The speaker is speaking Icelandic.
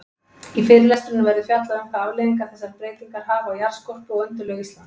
Í fyrirlestrinum verður fjallað um hvaða afleiðingar þessar breytingar hafa á jarðskorpu og undirlög Íslands.